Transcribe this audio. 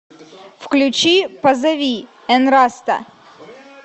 включи позови энраста